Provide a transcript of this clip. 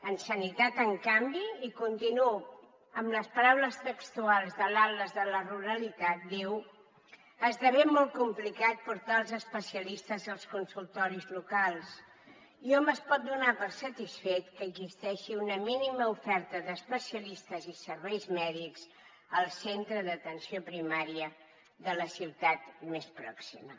en sanitat en canvi i continuo amb les paraules textuals de l’atles de la ruralitat diu esdevé molt complicat portar els especialistes als consultoris locals i hom es pot donar per satisfet que existeixi una mínima oferta d’especialistes i serveis mèdics al centre d’atenció primària de la ciutat més pròxima